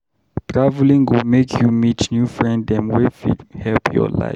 Traveling go make you meet new friend dem wey fit help your life.